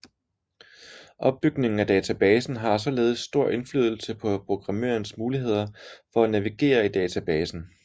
Opbygningen af databasen har således stor indflydelse på programmørens muligheder for at navigere i databasen